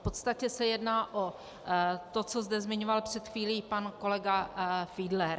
V podstatě se jedná o to, co zde zmiňoval před chvílí pan kolega Fiedler.